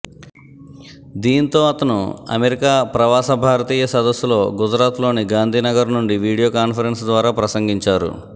దీంతో అతను అమెరికా ప్రవాస భారతీయ సదస్సులో గుజరాత్లోని గాంధీ నగర్ నుండి వీడియో కాన్ఫరెన్సు ద్వారా ప్రసంగించారు